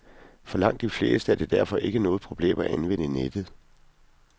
For langt de fleste er det derfor ikke noget problem at anvende nettet.